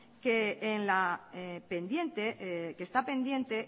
que está pendiente